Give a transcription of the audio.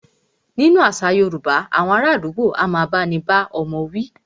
Nínú àṣà yorúbá, awọn ará àdúgbò a máà bá ní bá ọmọ wí.